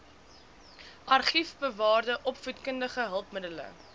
argiefbewaarde opvoedkundige hulpmiddele